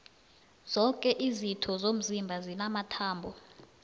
zoke izitho zomzimba zinamathambo